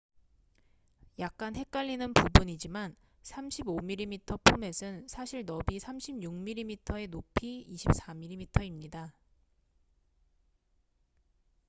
약간 헷갈리는 부분이지만 35mm 포맷은 사실 너비 36mm에 높이 24mm입니다